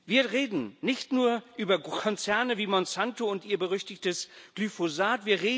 Wir reden nicht nur über Großkonzerne wie Monsanto und ihr berüchtigtes Glyphosat.